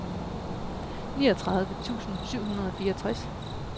niogtredive tusind syv hundrede og fireogtres